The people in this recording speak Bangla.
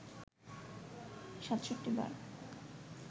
৬৭ বার